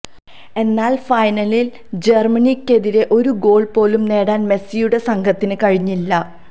എന്നാല് ഫൈനലില് ജര്മനിയ്ക്കെതിരെ ഒരു ഗോള് പോലും നേടാന് മെസ്സിയുടെ സംഘത്തിന് കഴിഞ്ഞില്ല